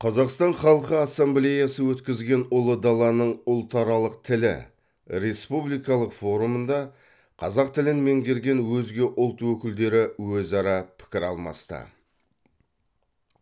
қазақстан халқы ассамблеясы өткізген ұлы даланың ұлтаралық тілі республикалық форумында қазақ тілін меңгерген өзге ұлт өкілдері өзара пікір алмасты